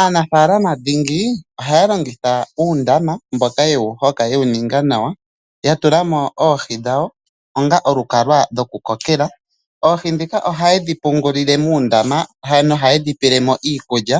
Aanafaalama dhingi ohaya longitha uundama, mboka ye wu hoka ye wu ninga nawa, ya tula mo oohi dhawo onga olukalwa lwokukokela. Oohi ndhika ohaye dhi munine muundama nohaye dhi pele mo iikulya.